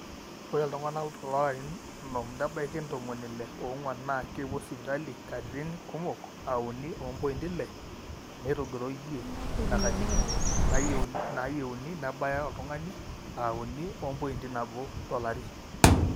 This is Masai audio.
ore iltung'anak loolarin onom nebaiki ntomoni ile oong'wan naa kepuo sipitali katigin kumok aa uni ompointi ile netogiroyie ina katitin naayieuni nebaya oltung'ani aa uni ompointi nabo tolari